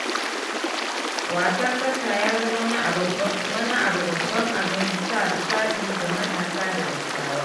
Wasan karta ya zama wani babban abin sa nishaɗi ga matasa da dattawa.